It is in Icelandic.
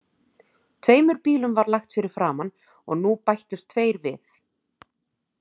Tveimur bílum var lagt fyrir framan og nú bættust tveir við.